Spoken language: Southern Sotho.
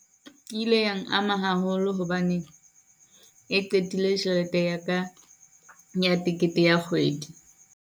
Ke ile yang ama haholo hobane e qetile tjhelete ya ka ya tekete ya kgwedi.